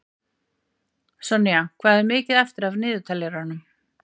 Sonja, hvað er mikið eftir af niðurteljaranum?